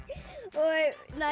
og